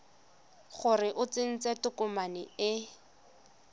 gore o tsentse tokomane e